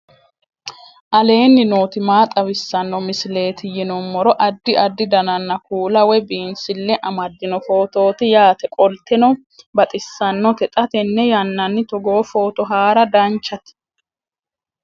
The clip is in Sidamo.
aleenni nooti maa xawisanno misileeti yinummoro addi addi dananna kuula woy biinsille amaddino footooti yaate qoltenno baxissannote xa tenne yannanni togoo footo haara danvchate